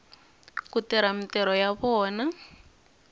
ku tirha mintirho ya vona